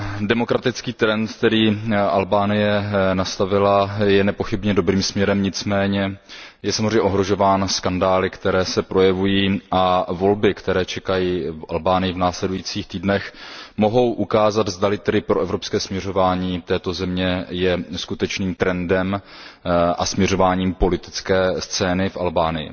Demokratický trend, který Albánie nastavila, je nepochybně dobrým směrem, nicméně je samozřejmě ohrožován skandály, které se projevují, a volby, které čekají Albánii v následujících týdnech, mohou ukázat, zda li proevropské směřování této země je skutečným trendem a směřováním politické scény v Albánii.